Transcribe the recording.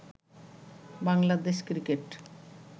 Bangladesh cricket